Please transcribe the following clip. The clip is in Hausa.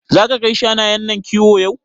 Zaka kai shanayen nan kiwo yau?